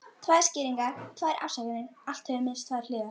Tvær skýringar, tvær afsakanir, allt hefur minnst tvær hliðar.